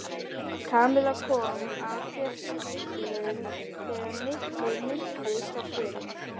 Kamilla kom af fjöllum þegar Nikki minntist á bréfin.